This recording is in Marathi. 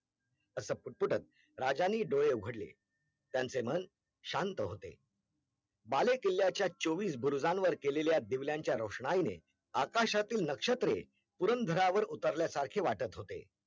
असं पुटपुटत राजांनी डोळे उघडले त्यांचे मन शांत होते बालेकिल्ल्याच्या चोवीस बुरुजावर केलेल्या दिवल्यांच्या रोषणाईने आकाशातील नक्षत्रे पुरंदरावर उतरल्या सारखे वाटत होते